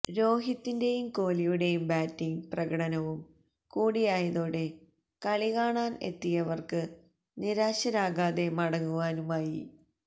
രോഹിത്തിന്റെയും കോഹ്ലിയുടെയും ബാറ്റിങ്ങ് പ്രകടനവും കൂടിയായതോടെ കളികാണാന് എത്തിയവര്ക്ക് നിരാശരാകാതെ മടങ്ങുവാനുമായി